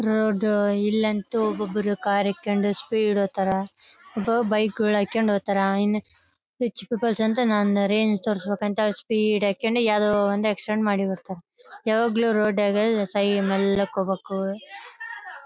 Road ಇಲ್ ಅಂತೂ ಒಬೊಬ್ಬರು ಕಾರ್ ಹೊಡ್ಕೊಂಡು ಸ್ಪೀಡ್ ಹೋಗ್ತಾರಾ ಒಬ್ಬ ಬೈಕ್ ಗಳ್ ಹಾಕ್ಕೊಂಡು ಹೋಗ್ತಾರಾ ರಿಚ್ ಪೀಪಲ್ಸ್ ಅಂತ ನಂದ್ ರೇಂಜ್ ತೋರ್ಸ್ಬೇಕಂತ ಅವರು ಸ್ಪೀಡ್ ಹಾಕ್ಕೊಂಡು ಯಾವ್ದೋ ಒಂದ್ ಆಕ್ಸಿಡೆಂಟ್ ಮಾಡಿ ಬರ್ತಾರಾ ಯಾವಾಗ್ಲೂ ರೋಡ್ ನಾಗ ಸೈ ಮೆಲ್ಕ್ ಹೋಗ್ಬೇಕು .